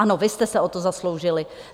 Ano, vy jste se o to zasloužili.